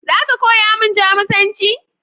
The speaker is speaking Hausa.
Za ka koya min Jamusanci?